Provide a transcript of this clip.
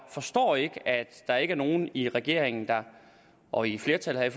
forstår ikke at der ikke er nogen i regeringen og i flertallet her